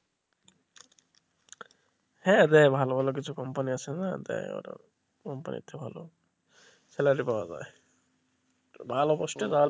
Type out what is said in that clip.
হ্যাঁ দেয় ভালো ভালো কিছু কোম্পানি আছে না দেয় ওরা কোম্পানি টাই ভালোই salary পাওয়া যায় ভালো পোস্টে ধর.